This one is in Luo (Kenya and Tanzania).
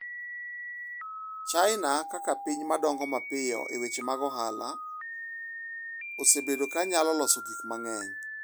China kaka piny ma dongo mapiyo e weche mag ohala osebedo ka nyalo loso gik mang’eny.